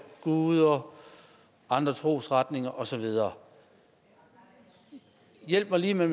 guder og andre trosretninger og så videre hjælp mig lige med